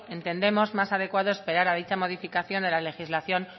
entendemos más adecuado esperar a dicha modificación de la legislación